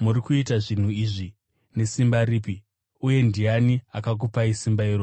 “Muri kuita zvinhu izvi nesimba ripi? Uye ndiani akakupai simba irori?”